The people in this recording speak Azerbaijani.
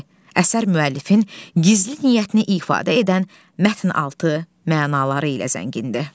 Əsər müəllifin gizli niyyətini ifadə edən mətn altı mənaları ilə zəngindir.